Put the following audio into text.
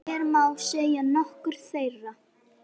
Nei, ég er að djóka.